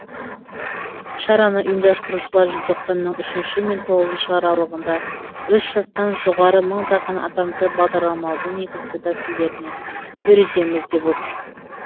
шараны ұйымдастырушылар желтоқсанның үшінші мен тоғызыншы аралығында үш жастан жоғары мыңдаған адамды бағдарламалаудың негізгі тәсілдеріне үйретеміз деп отыр